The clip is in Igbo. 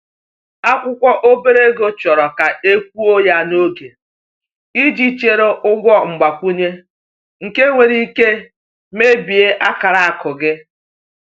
Akwụkwọ obere ego chọrọ ka e kwụọ ya n’oge, iji zere ụgwọ mgbakwunye nke nwere ike mebie akara akụ gị.